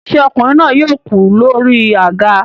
Ṣé ọkùnrin náà yóò kú lórí àga